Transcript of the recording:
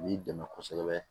B'i dɛmɛ kosɛbɛ